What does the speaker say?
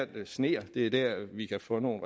det sner det er der vi kan få nogle